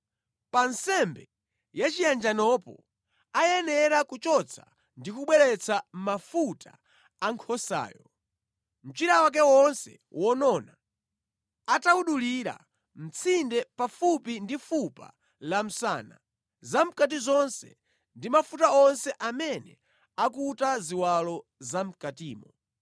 Pa nsembe yachiyanjanopo ayenera kuchotsa ndi kubweretsa: mafuta a nkhosayo, mchira wake wonse wonona atawudulira mʼtsinde pafupi ndi fupa la msana, zamʼkati zonse ndi mafuta onse amene akuta ziwalo zamʼkatimo,